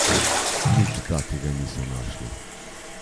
Nič takega niso našli.